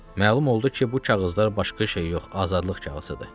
Məlum oldu ki, bu kağızlar başqa şey yox, azadlıq kağızıdır.